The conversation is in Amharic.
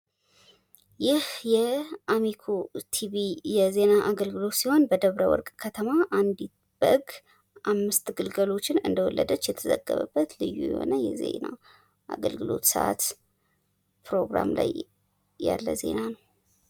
ይህ የአሚኮ ቲቪ የዜና አገልግሎት ሲሆን በደብረ ወርቅ ከተማ አንዲት በግ አምስት ግልገሎችን እንደወለደች የተዘገበበት ልዩ የሆነ የዜና አገልግሎት ሰዓት ፕሮግራም የዜና ሰዓት ነው።